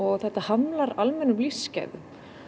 og þetta hamlar almennum lífsgæðum